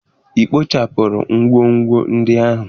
Ị kpochapụrụ ngwongwo ndị ahụ?